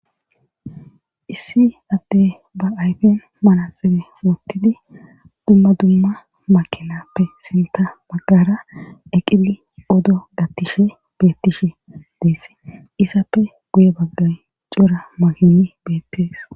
issi atte ba ayfen manaxebe wottidi dumma dumma makelappe sinta baggara eqili odo gattishe bettishe deess isappe guye baggay cora mayini beettees